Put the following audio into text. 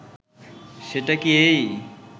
সেটা কি এই